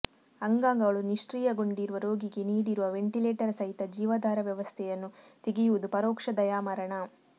ಅಂಗಾಂಗಗಳು ನಿಷ್ಕ್ರೀಯಗೊಂಡಿರುವ ರೋಗಿಗೆ ನೀಡಿರುವ ವೆಂಟಿಲೇಟರ್ ಸಹಿತ ಜೀವಾಧಾರ ವ್ಯವಸ್ಥೆಯನ್ನು ತೆಗೆಯುವುದು ಪರೋಕ್ಷ ದಯಾಮರಣ